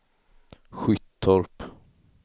Skyttorp